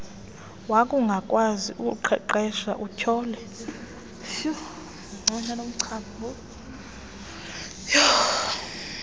wakungakwazi ukuqeqesha utyhole